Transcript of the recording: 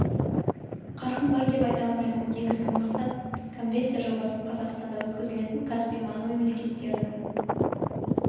қарқын бар деп айта аламын біз негізгі мақсат конвенция жобасын қазақстанда өткізілетін каспий маңы мемлекеттерінің